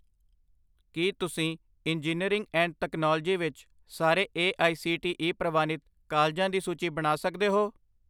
ਕੀ ਤੁਸੀਂ engineering and technology ਵਿੱਚ ਸਾਰੇ A I C T E ਪ੍ਰਵਾਨਿਤ ਕਾਲਜਾਂ ਦੀ ਸੂਚੀ ਬਣਾ ਸਕਦੇ ਹੋ